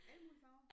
Alle mulige farver?